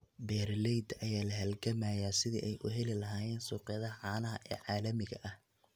Beeralayda ayaa la halgamaya sidii ay u heli lahaayeen suuqyada caanaha ee caalamiga ah.